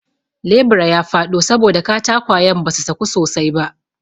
lebura ya faɗo saboda katakwayan basu saku sosai ba